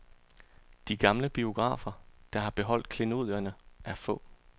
De gamle biografer, der har beholdt klenodierne, er få.